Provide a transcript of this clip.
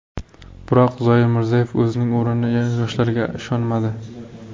Biroq Zoir Mirzayev o‘zining o‘rnini yoshlarga ishonmadi.